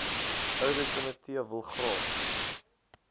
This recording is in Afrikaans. ouditkomitee wil graag